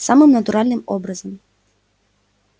самым натуральным образом